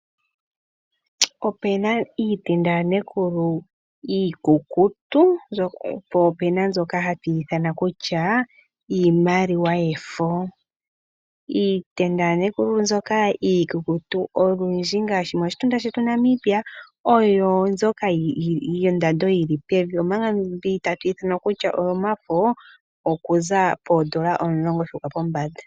Opena iitenda yaNekulu iikukutu po opuna mbyoka hatu ithana kutya iimaliwa yefo. Iitenda yaNekulu mbyoka iikukutu olundji ngaashi moshitunda shetu Namibia oyo mbyoka yondando yi li pevi , omanga mbi ta tu ithana kutya oyomafo okuza poondola Omulongo shuuka pombanda.